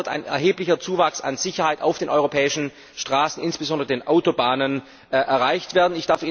Dadurch wird ein erheblicher Zuwachs an Sicherheit auf den europäischen Straßen, insbesondere auf den Autobahnen, erreicht werden.